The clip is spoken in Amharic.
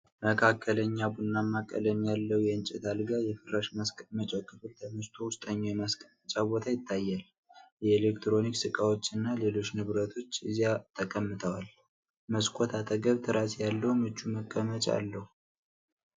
መካከለኛ ቡናማ ቀለም ያለው የእንጨት አልጋ፣ የፍራሽ ማስቀመጫው ክፍል ተነስቶ ውስጠኛው የማስቀመጫ ቦታ ይታያል። የኤሌክትሮኒክስ እቃዎችና ሌሎች ንብረቶች እዚያ ተቀምጠዋል። መስኮት አጠገብ ትራስ ያለው ምቹ መቀመጫ አለው።